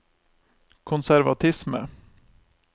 konservatisme